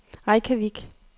Reykjavik